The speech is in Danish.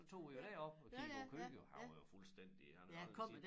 Så tog vi jo derop og kiggede på køer han var jo fuldstændig han havde aldrig set